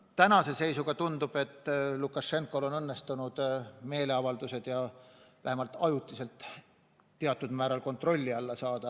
Tänase seisuga tundub, et Lukašenkal on õnnestunud meeleavaldused vähemalt ajutiselt teatud määral kontrolli alla saada.